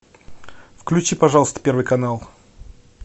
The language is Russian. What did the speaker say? включи пожалуйста первый канал